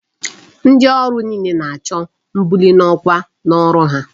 Ndi oru niile na-acho mbuli n'okwa n'ọrụ ha.